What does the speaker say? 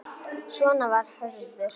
Svona var Hörður.